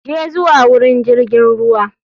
Je zuwa wurin jirgin ruwa.